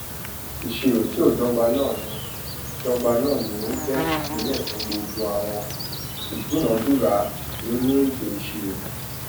ìṣirò tí ó dọgba náà ní dọgba náà ní ó jẹ ìpìnlẹ fún gbogbo àwọn ìdúnàdúrà nínú ètò ìṣirò